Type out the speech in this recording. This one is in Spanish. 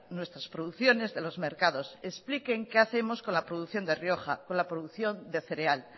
nuestras producciones de los mercados expliquen qué hacemos con la producción de rioja con la producción de cereal